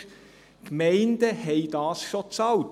Die Gemeinden haben es schon bezahlt.